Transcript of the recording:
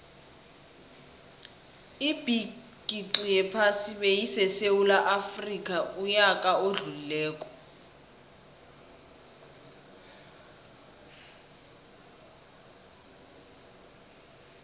ibigixi yephasi beyisesewula afxica uyaka odlulile